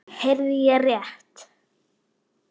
Heyrði ég rétt.